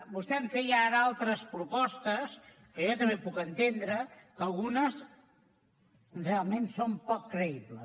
vostè em feia ara altres propostes que jo també puc entendre però algunes realment són poc creïbles